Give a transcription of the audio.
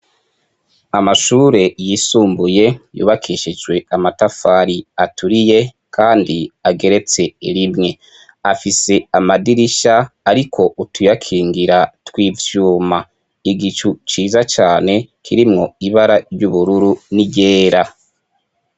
Amashure yisumbuye yubakishijwe amatafari aturiye kandi ageretse rimwe. Afise amadirisha ariko utuyakingira tw'ivyuma. Igicu ciza cane kirimwo ibara ry'ubururu n'iryera.